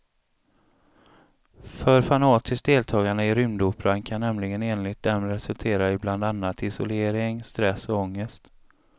För fanatiskt deltagande i rymdoperan kan nämligen enligt dem resultera i bland annat isolering, stress och ångest.